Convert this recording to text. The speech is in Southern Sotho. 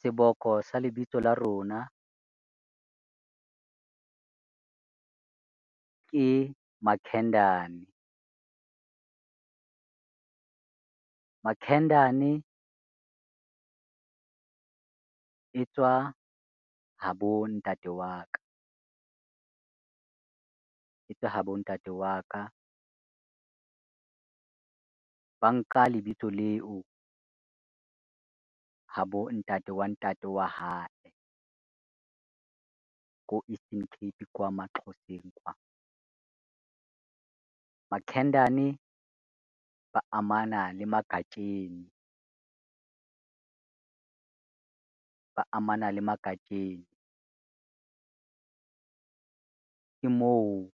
Seboko sa lebitso la rona, ke Makhendane. Makhendane e tswa ha bo ntate wa ka, e tswa ha bo ntate wa ka. Ba nka lebitso leo ha bo ntate wa ntate wa hae, ko Eastern Cape kwa maXhoseng kwa. Makhendane ba amana le Magatsheni, ba amana le Magatsheni. Ke moo